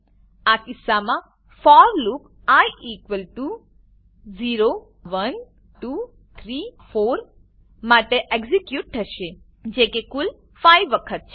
આ કિસ્સામાં for loop I 0 1 2 3 4 માટે એક્ઝીક્યુટ થશે જેકે કુલ 5 વખત છે